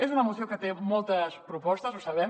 és una moció que té moltes propostes ho sabem